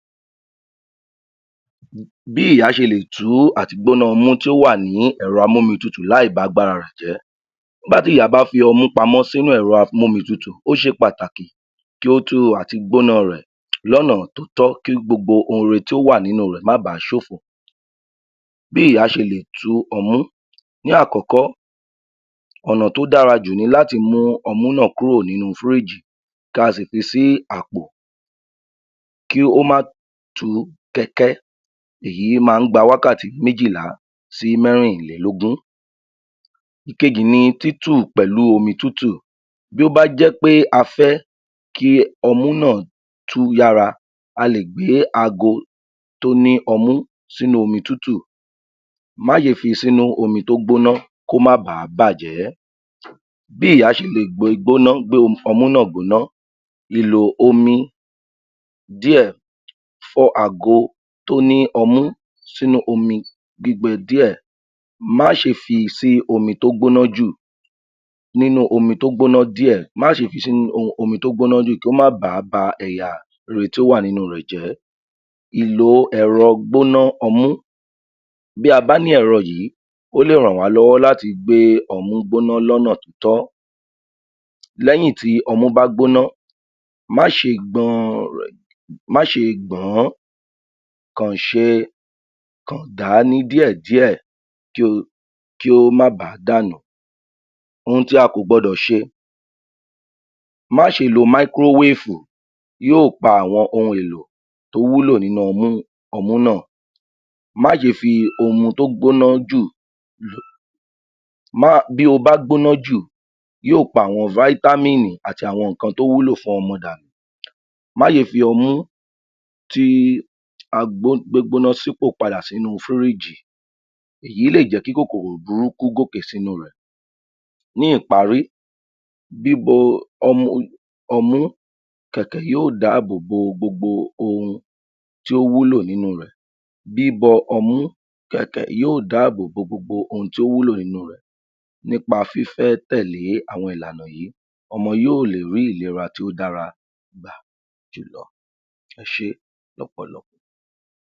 Bí ìyá ṣe lè tú àti gbóná ọmú tí ó wà ní ẹ̀rọ-amómitutù láì ba'gbára rẹ̀ jẹ́. Nígbà bá fi ọmú pamọ́ sínú ẹ̀rọ-amómitutù ó ṣe pàtàkì kí ó tó àti gbóná rẹ̀ lọ́nà tótọ́ kí gbogbo ohun rere ohun rere tí ó wà nínú rẹ̀ má bàá ṣòfò. Bí ìyá ṣe lè tú ọmú, ní àkọ́kọ́ ọ̀nà t'ódára jù ni láti mú ọmú náà kúrò nínú fíríìjì kí a sì fi sí àpò kí ó má tùú kẹ́kẹ́, èyí máa ń gba wákàtí méjìlá sí mẹ́rìnlélógún. Ìkejì ni títù pẹ̀lú omi tútù, bí ó bá jẹ́ pé a fẹ́ kí ọmú náà tú yára a lè gbé aago tó ní ọmú sínú omi tútù. Má ṣe fi sínú omi tó gbóná kó má ba á bàjẹ́. Bí ìyá ṣe lè gbé e gbóná gbé ọmú náà gbóná, lílo omi díẹ̀ fọ àgo tó ní ọmú sínú omi gbígbẹ díẹ̀, má ṣe fi sí omi tó gbóná jù nínú omi tó gbóná díẹ̀, má ṣe fi sínú um omi tó gbóná jù kí ó má bàá ba ẹ̀yà rere tí ó wà nínú rẹ̀ jẹ́ Ìlò ẹ̀rọ-gbóná-ọmú, bí a bá ní ẹ̀rọ yìí, ó lè rànwá lọ́wọ́ láti gbé ọmú gbóná lọ́nà tótọ́, lẹ́yìn tí ọmú bá gbóná má ṣe gbọn um má ṣe gbọ̀n-án, kàn ṣe kan gà á ní díẹ̀díẹ̀ kí o kí ó má baàá dànù. Ohun tí a kò gbọdọ̀ ṣe, má ṣe lo máíkúrówéèfù yóò pa àwọn ohun èlò tó wúlò nínú ọmú, ọmú náà, má ṣe fi ohun tó gbóná jù um má bí ó bá gbóná jù, yóò pa àwọn fáítámì àti àwọn nǹkan tó wúlò fún ọmú danù. Má ṣe fi ọmú ti tí a gbó gbóná sípò padà sínú fíríìjì, èyí lè jẹ́ kí kòkòrò burúkú gòkè sínú rẹ̀. Ní ìparí bíbo um ọmú kẹ̀kẹ̀ yóò dáàbò bo gbogbo ohun tí ó wúlò nínú rẹ̀. Bíbọ ọmú kẹkẹ yóò dáàbò bo gbogbo ohun tí ó wúlò nínú rẹ̀ nípa fifẹ́ tẹ̀lé àwọn ìlànà yìí. Ọmọ yóò lè rí ìlera tí ó dára gbà jùlọ. Ẹ ṣé lọ́pọ̀lọpọ̀.